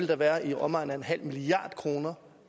dér være i omegnen af en halv milliard kroner